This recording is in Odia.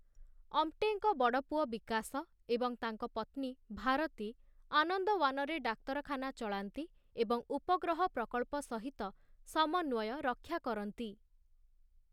ଅମ୍ଟେଙ୍କ ବଡ ପୁଅ ବିକାଶ ଏବଂ ତାଙ୍କ ପତ୍ନୀ ଭାରତୀ ଆନନ୍ଦୱାନରେ ଡାକ୍ତରଖାନା ଚଳାନ୍ତି ଏବଂ ଉପଗ୍ରହ ପ୍ରକଳ୍ପ ସହିତ ସମନ୍ୱୟ ରକ୍ଷା କରନ୍ତି ।